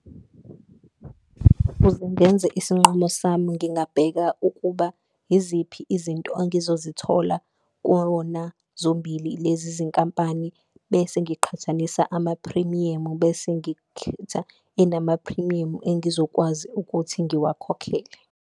Kuze ngenze isinqumo sami ngingabheka ukuba iziphi izinto engizozithola kuwona zombili lezi zinkampani, bese ngiqhathanisa amaphrimiyamu, bese ngikhetha enamaphrimiyamu engizokwazi ukuthi ngiwakhokhele.